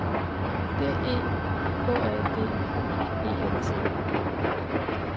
D E K A D E N T